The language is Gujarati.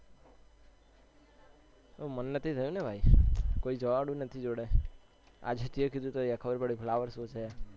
મન નથી થયું ભાઈ કોઈ જવા વાળું નથી જોડે આજે તે કીધું ત્યારે ખબર પડી કે flower show છે